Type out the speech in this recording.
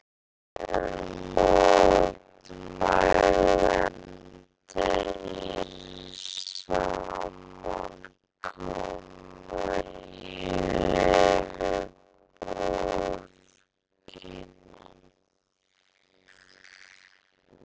Þúsundir mótmælenda eru samankomnar í höfuðborginni